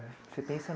Você pensa